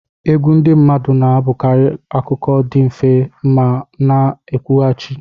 Egwu ndị mmadụ na-abụkarị akụkọ dị mfe ma na-ekwughachi.